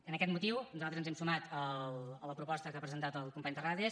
amb aquest motiu nosaltres ens hem sumat a la proposta que ha presentat el company terrades